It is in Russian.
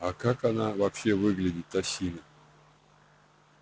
а как она вообще выглядит осина